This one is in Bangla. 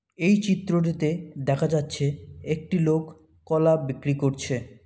এই চিত্রটিতে দেখা যাচ্ছে একটি লোক কলা বিক্রি করছে।